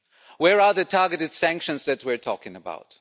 Where are the targeted sanctions that we are talking about?